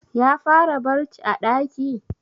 Ya fara barc a ɗaki?